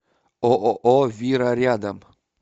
ооо вира рядом